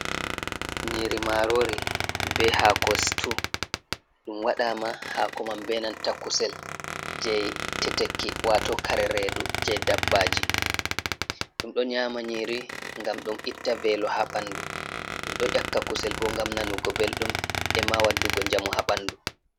Nyiri marori be hako stew. Ɗum waɗama hako man be nanta kusel je teteki wato (kare redu) je dabbaji. Ɗum ɗo nyama nyiri ngam ɗum itta velo ha ɓandu ɗum ɗo ƴakka kusel bo ngam nanugo beldum e'ma waddugo njamu ha ɓandu.